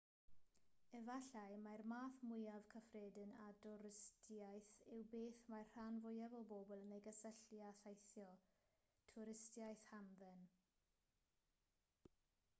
efallai mai'r math mwyaf cyffredin o dwristiaeth yw beth mae'r rhan fwyaf o bobl yn ei gysylltu â theithio twristiaeth hamdden